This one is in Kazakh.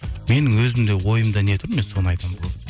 менің өзімде ойымда не тұр мен соны айтамын болды